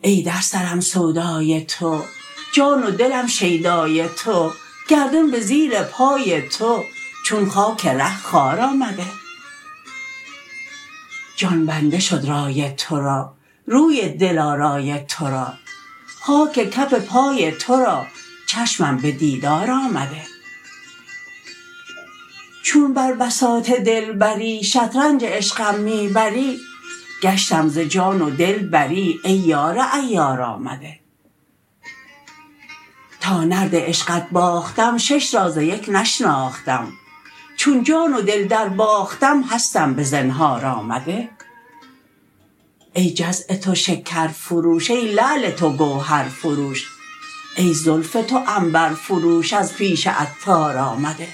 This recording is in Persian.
ای در سرم سودای تو جان و دلم شیدای تو گردون به زیر پای تو چون خاک ره خوار آمده جان بنده شد رای تورا روی دل آرای تو را خاک کف پای تو را چشمم به دیدار آمده چون بر بساط دلبری شطرنج عشقم می بری گشتم ز جان و دل بری ای یار عیار آمده تا نرد عشقت باختم شش را ز یک نشناختم چون جان و دل درباختم هستم به زنهار آمده ای جزع تو شکر فروش ای لعل تو گوهر فروش ای زلف تو عنبر فروش از پیش عطار آمده